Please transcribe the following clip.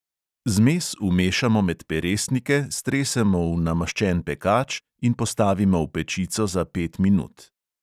Zmes vmešamo med peresnike, stresemo v namaščen pekač in postavimo v pečico za pet minut